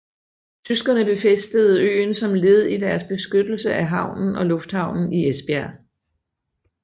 Tyskerne befæstede øen som led i deres beskyttelse af havnen og lufthavnen i Esbjerg